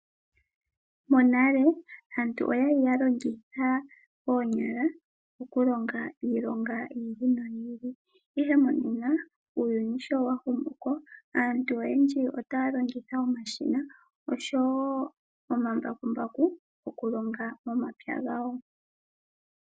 Monale aantu oyali ya longitha oonyala okulonga iilonga yi ili noyi ili, ihe monena uuyuni shi wa humuko aantu oyendji itaya longitha omashina noshowo omambakumbaku okulonga momapya gawo.